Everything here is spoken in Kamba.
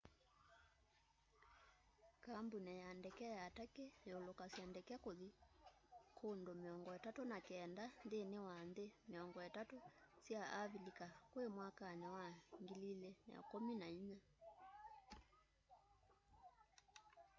kambũni ya ndeke ya turkey yũlũkasya ndeke kũthi kũũndũ 39 nthĩnĩ wa nthĩ 30 sya avĩlĩka kwĩ mwakanĩ wa 2014